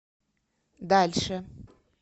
дальше